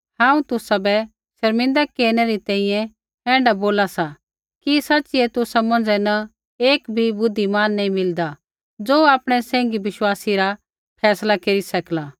हांऊँ तुसाबै शर्मिंदा केरनै री तैंईंयैं ऐण्ढा बोला सा कि सच़िऐ तुसा मौंझ़ै न एक भी बुद्धिमान नी मिलदा ज़ो आपणै सैंघी विश्वासी रा फैसला केरी सकला